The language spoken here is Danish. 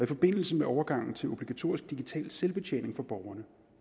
forbindelse med overgangen til obligatorisk digital selvbetjening for borgerne